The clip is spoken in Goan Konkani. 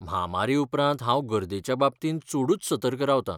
म्हामारी उपरांत हांव गर्देच्या बाबतींत चडूच सतर्क रावता.